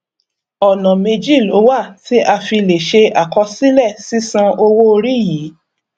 ọnà méjì ló wà tí a fi lè ṣe akosílè sisan owo ori yi